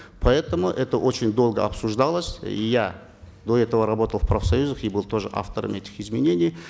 поэтому это очень долго обсуждалось и я до этого работал в профсоюзах и был тоже автором этих изменений